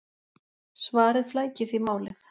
Svarið flækir því málið!